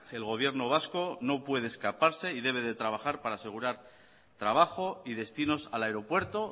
el gobierno vasco no puede escaparse y debe de trabajar para asegurar trabajo y destinos al aeropuerto